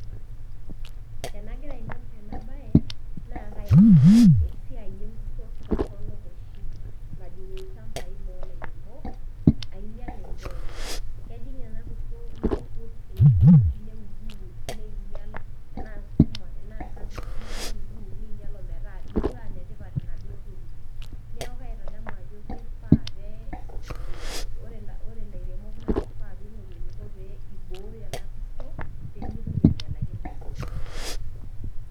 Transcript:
Tenagira aing'or ena baye naa esiai enkurto torono oshi najing' ilchambai loo ilairemok einyal endaa enye. Kejing' ena kurto neiput neudiud neinyal tanaa sukuma ,tanaa enkapishi, neinyal metaaekure aa netipat naduo tokitin, neaku kaitadamu ajo keifaa pee eiko, ore ilairemok naa keifaa peing'oru eneiko pee eibooyo ena kurto pee meitoki ainyalaki indaiki enye.